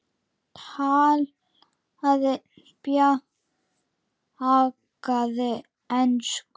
Talaði bjagaða ensku: